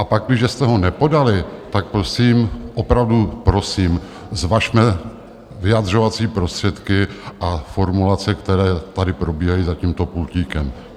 A pakliže jste ho nepodali, tak prosím, opravdu prosím, zvažme vyjadřovací prostředky a formulace, které tady probíhají za tímto pultíkem.